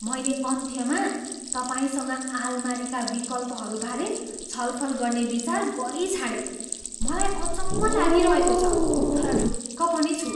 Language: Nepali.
मैले अन्त्यमा तपाईँसँग आलमारीका विकल्पहरूबारे छलफल गर्ने विचार गरिछाडेँ। मलाई अचम्म लागिरहेको छ। तर ढुक्क पनि छु।